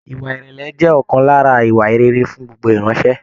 Ìwà ìrẹlẹ jẹ ọkan lára ìwà rere fún gbogbo iranṣẹ.